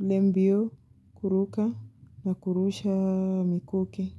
ile mbio kuruka na kurusha mikuki.